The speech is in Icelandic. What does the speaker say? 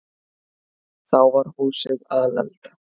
Þá var húsið alelda.